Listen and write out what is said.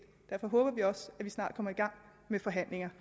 og derfor håber vi også at vi snart kommer i gang med forhandlinger